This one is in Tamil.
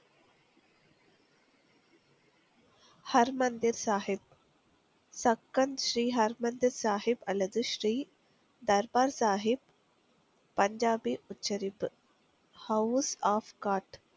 ஹர் மந்திர் சாகிப் சக்கன் ஸ்ரீ ஹர் மந்திர் சாஹிப் அல்லது ஸ்ரீ தர்பார் சாஹிப் பஞ்சாபி உச்சரிப்பு house off cot